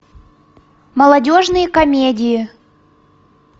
молодежные комедии